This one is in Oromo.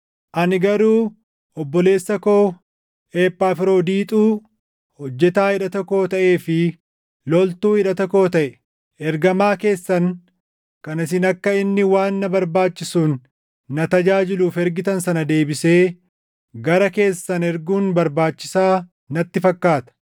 Ani garuu obboleessa koo Ephafroodiixuu hojjetaa hidhata koo taʼee fi loltuu hidhata koo taʼe, ergamaa keessan kan isin akka inni waan na barbaachisuun na tajaajiluuf ergitan sana deebisee gara keessan erguun barbaachisaa natti fakkaata.